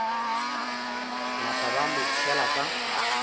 napa ba mo tšhela ka